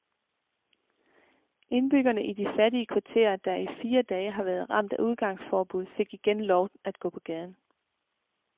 Indbyggerne i de fattige kvarterer, der i fire dage har været ramt af udgangsforbud, fik igen lov at gå på gaden.